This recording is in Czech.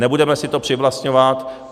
Nebudeme si to přivlastňovat.